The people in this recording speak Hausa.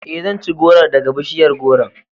Ee, zan ci gworon daga bishiyar gworon..